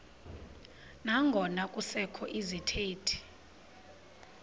nangona kusekho izithethi